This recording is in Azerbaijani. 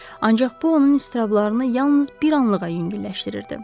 Ancaq bu onun iztrablarını yalnız bir anlığa yüngülləşdirirdi.